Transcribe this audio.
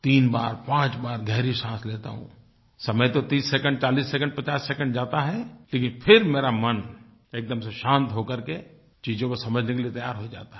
तीन बारपांच बार गहरी साँस लेता हूँ समय तो 30 सेकिंड 40 सेकिंड 50 सेकिंड जाता है लेकिन फिर मेरा मन एकदम से शांत हो करके चीज़ों को समझने के लिए तैयार हो जाता है